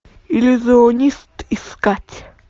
иллюзионист искать